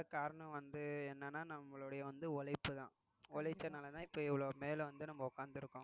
காரணம் வந்து என்னன்னா நம்மளுடைய வந்து உழைப்புதான் உழைச்சதுனாலதான் இப்ப இவ்வளவு மேல வந்து நம்ம உட்கார்ந்திருக்கோம்